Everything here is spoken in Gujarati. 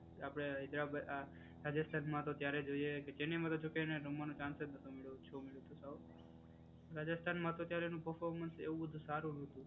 આપડે હૈદરાબાદ આ રાજસ્થાનમાં તો અત્યારે જોઈએ કે ચેન્નઈમાં જો કે એને રમવાનું ચાન્સ જ નહોતો મળ્યો. ઓછો મળ્યો તો સાઉ. રાજસ્થાનમાં તો અત્યારે એનો પર્ફોમન્સ એવું જ સારું હતું.